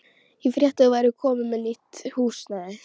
Ég frétti að þú værir komin með nýtt húsnæði.